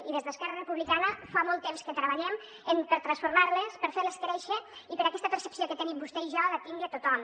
i des d’esquerra republicana fa molt temps que treballem per transformar·les per fer·les créixer i perquè aquesta percepció que tenim vostè i jo la tingui tothom